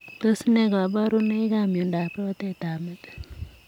Tos nee kabarunoik ap miondop rotet ap metit ?